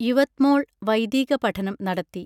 യുവത്മോൾ വൈദീക പഠനം നടത്തി